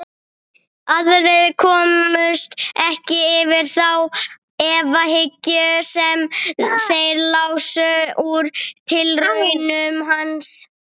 Aðrir komust ekki yfir þá efahyggju sem þeir lásu úr tilraunum hans.